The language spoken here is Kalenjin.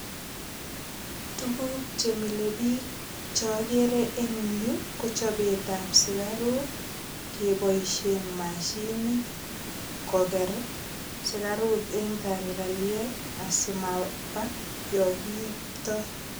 Tuguk che milebiik chogere eng yu ko chobetab sugaruk keboisie mashinit koger sugaruk en tagalkaliet, asimaba yo kiiptoi.